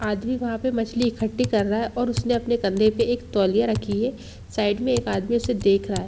आदमी वहाँ पे मछली इकट्ठी कर रहा है और उसने अपने कंधे पे एक तौलिया रखी है साइड में एक आदमी उसे देख रहा है।